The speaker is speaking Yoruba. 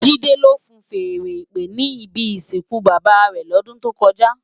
JIde ló fúùn fèèrè ìpè ni ibi isinkú bábá rè lòdùn tókòjá